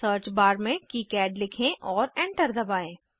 search bar में किकाड लिखें और एंटर दबाएं